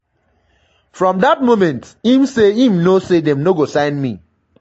from dat moment im say im know say dem no go sign me.